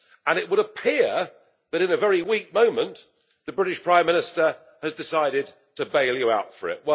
And it would appear that in a very weak moment the British Prime Minister has decided to bail you out for it.